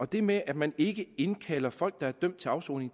det med at man ikke indkalder folk der er dømt til afsoning